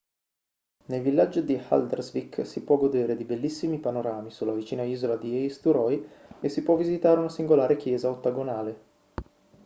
nel villaggio di haldarsvik si può godere di bellissimi panorami sulla vicina isola di eysturoy e si può visitare una singolare chiesa ottagonale